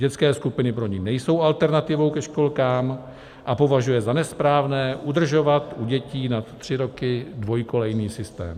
Dětské skupiny pro ni nejsou alternativou ke školkám a považuje za nesprávné udržovat u dětí nad tři roky dvojkolejný systém.